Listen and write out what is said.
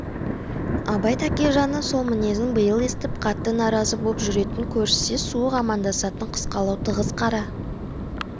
абай тәкежанның сол мінезін биыл естіп қатты наразы боп жүретін көріссе суық амандасатын қысқалау тығыз қара